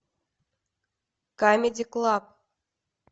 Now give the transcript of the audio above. камеди клаб